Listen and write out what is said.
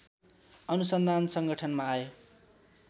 अनुसन्धान संगठनमा आए